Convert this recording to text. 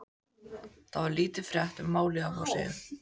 Þar var lítil frétt um málið á forsíðu.